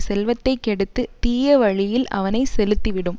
செல்வத்தை கெடுத்துத் தீய வழியில் அவனை செலுத்தி விடும்